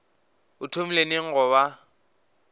o thomile neng go ba